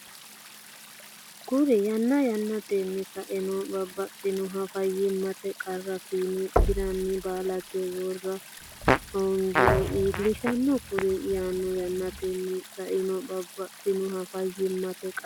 Kuri yanna yannatenni Saeno babbaxxinoha fayyimmate qarra fiine giiranna balete waama hoongiro iillishanno Kuri yanna yannatenni Saeno babbaxxinoha fayyimmate qarra.